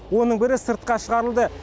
оның бірі сыртқа шығарылды